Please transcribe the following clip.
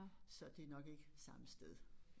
Så det nok ikke samme sted